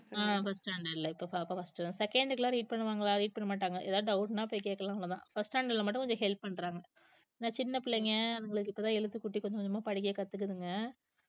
ஆஹ் first standard ல இப்ப பாப்பா first தான் second க்கி எல்லாம் read பண்ணுவாங்களா read பண்ணமாட்டாங்க ஏதாவது doubt ன்னா போய் கேட்கலாம் அவ்வளவுதான் first standard ல மட்டும் கொஞ்சம் help பண்றாங்க இந்த சின்ன பிள்ளைங்க அவங்களுக்கு இப்பதான் எழுத்துக்கூட்டி கொஞ்சம் கொஞ்சமா படிக்க கத்துக்குதுங்க